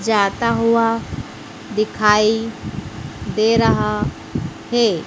जाता हुआ दिखाई दे रहा है।